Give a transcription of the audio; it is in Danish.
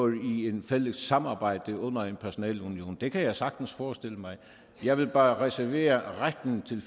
i et fælles samarbejde under en personalunion det kan jeg sagtens forestille mig jeg vil bare reservere retten til